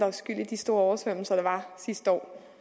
er skyld i de store oversvømmelser der var sidste år